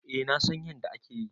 Eh na San yanda akeyi.